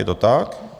Je to tak.